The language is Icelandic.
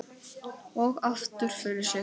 Og aftur fyrir sig.